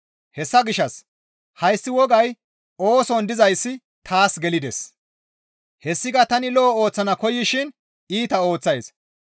Hessa gishshas hayssi wogay ooson dizayssi taas gelides. Hessika tani lo7o ooththana koyaysishin iita ooththays.